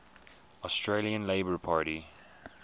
australian labor party